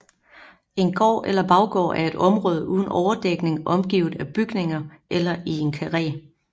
En gård eller baggård er et område uden overdækning omgivet af bygninger eller i en karré